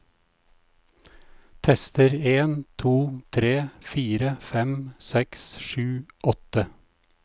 Tester en to tre fire fem seks sju åtte